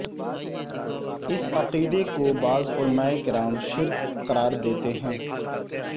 اس عقیدے کو بعض علماء کرام شرک قرار دیتے ہیں